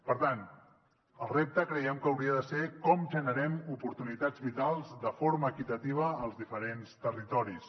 per tant el repte creiem que hauria de ser com generem oportunitats vitals de forma equitativa als diferents territoris